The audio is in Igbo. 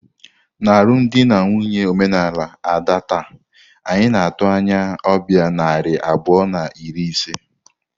N'alụmdi na nwunye omenala Ada taa, anyị na-atụ anya ọbịa narị abụọ na iri ise.